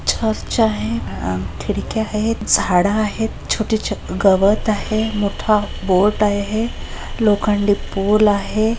Church आहे खिड़क्या आहे झाड आहेत छोटे छोटे गवत आहे मोठा बोर्ड आहे लोखंडी पोल आहे.